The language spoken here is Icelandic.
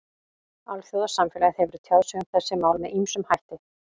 Alþjóðasamfélagið hefur tjáð sig um þessi mál með ýmsum hætti.